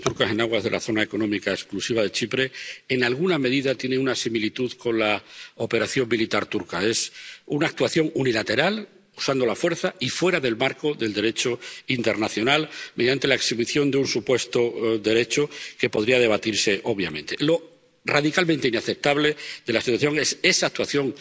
Señor presidente, el problema de las perforaciones turcas en aguas de la zona económica exclusiva de Chipre en alguna medida tiene una similitud con la operación militar turca. Es una actuación unilateral, usando la fuerza y fuera del marco del Derecho internacional, mediante la exhibición de un supuesto derecho que podría debatirse, obviamente. Lo radicalmente inaceptable de la situación es esa actuación